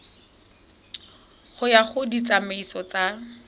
go ya ka ditsamaiso tsa